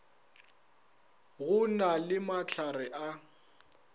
go na le mahlare a